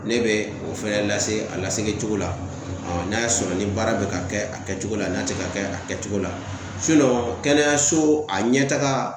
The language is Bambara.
Ne bɛ o fɛnɛ lase a laseli cogo la aa n'a y'a sɔrɔ ni baara be ka kɛ a kɛcogo la n'a te ka kɛ a kɛcogo la sinɔn kɛnɛyaso a ɲɛtaga